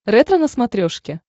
ретро на смотрешке